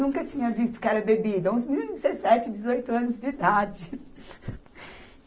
Nunca tinha visto o que era bebida, uns meninos de dezessete, dezoito anos de idade.